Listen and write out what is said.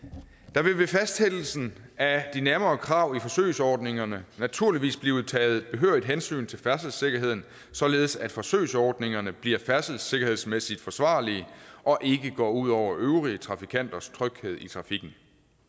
der vil ved fastsættelsen af de nærmere krav i forsøgsordningerne naturligvis blive taget behørigt hensyn til færdselssikkerheden således at forsøgsordningerne bliver færdselssikkerhedsmæssigt forsvarlige og ikke går ud over øvrige trafikanters tryghed i trafikken